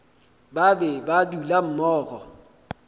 ba be ba dula mmogo